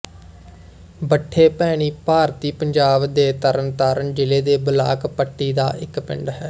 ਬੱਠੇ ਭੈਣੀ ਭਾਰਤੀ ਪੰਜਾਬ ਦੇ ਤਰਨਤਾਰਨ ਜ਼ਿਲ੍ਹੇ ਦੇ ਬਲਾਕ ਪੱਟੀ ਦਾ ਇੱਕ ਪਿੰਡ ਹੈ